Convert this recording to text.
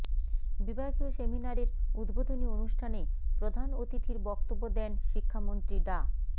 বিভাগীয় সেমিনারের উদ্বোধনী অনুষ্ঠানে প্রধান অতিথির বক্তব্য দেন শিক্ষামন্ত্রী ডা